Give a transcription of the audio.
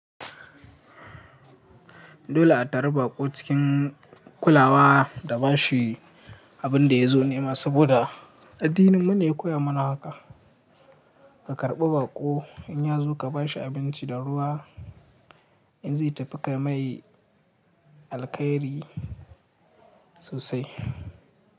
Dole a tarbi baƙo cikin kulawa da ba shi abin da ya zo nema. Saboda addininmu ne ya koya mana haka, ka karɓi baƙo in ya zo ka ba shi abinci da ruwa in zai tafi ka mai alkhairi sosai.